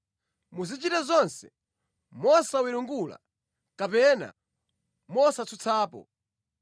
Muzichita zonse mosawiringula kapena mosatsutsapo,